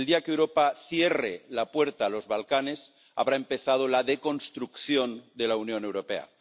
El día que Europa cierre la puerta a los Balcanes habrá empezado la deconstrucción de la Unión Europea.